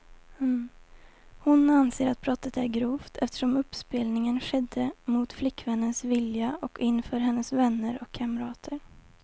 Hon anser att brottet är grovt, eftersom uppspelningen skedde mot flickvännens vilja och inför hennes vänner och kamrater.